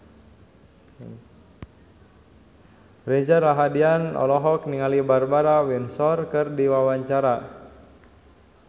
Reza Rahardian olohok ningali Barbara Windsor keur diwawancara